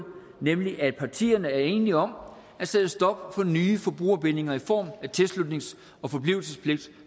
nemlig at partierne er enige om at sætte stop for nye forbrugerbindinger i form af tilslutnings og forblivelsespligt